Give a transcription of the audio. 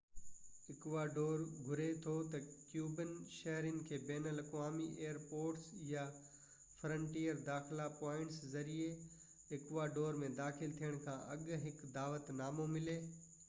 Ecuador گهري ٿو ته ڪيوبن شهرين کي بين الاقوامي ايئر پورٽس يا فرنٽيئر داخلا پوائنٽس ذريعي اڪواڊور ۾ داخل ٿيڻ کان اڳ هڪ دعوت نامو ملي